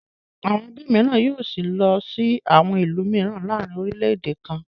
Àwọn ẹbí mìíràn yóò sí lọ sí àwọn ìlú mìíràn láàárin orílẹ̀-èdè kan náà.